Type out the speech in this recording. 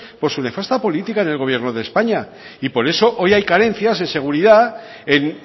por su nefasta política en el gobierno de españa y por eso hoy hay carencias de seguridad en